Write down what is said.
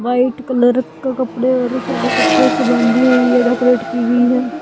White colour क कपड़े और शेलो कपड़े से बंधी हुई है डेकोरेट की हुई है।